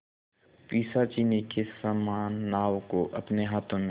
पिशाचिनी के समान नाव को अपने हाथों में